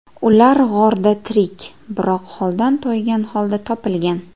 Ular g‘orda tirik, biroq holdan toygan holda topilgan .